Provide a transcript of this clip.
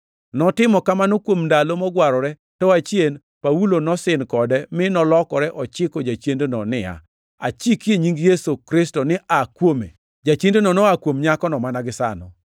Notimo kamano kuom ndalo mogwarore, to achien Paulo nosin kode, mi nolokore ochiko jachiendno niya, “Achiki e nying Yesu Kristo ni aa kuome!” Jachiendno noa kuom nyakono mana gisano.